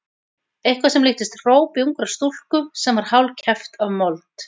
Eitthvað sem líktist hrópi ungrar stúlku sem var hálfkæft af mold.